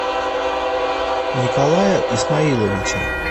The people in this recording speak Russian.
николая исмаиловича